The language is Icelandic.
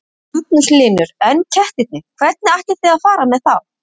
Magnús Hlynur: En kettirnir, hvernig ætlið þið að fara með þá?